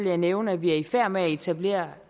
jeg nævne at vi er i færd med at etablere